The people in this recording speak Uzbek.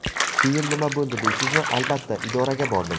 Keyin nima bo‘ldi deysizmi, albatta, idoraga bordim.